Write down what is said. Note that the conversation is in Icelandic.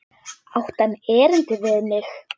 Átti hann erindi við mig?